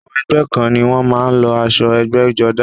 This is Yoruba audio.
Àwọn ẹgbẹ́ kan ni wọ́n má a ń lo asọ ẹgbẹ́jọdá